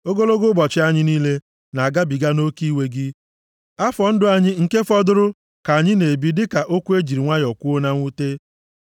Ogologo ụbọchị anyị niile na-agabiga nʼoke iwe gị; afọ ndụ anyị nke fọdụrụ ka anyị na-ebi dịka okwu e ji nwayọọ kwuo na mwute.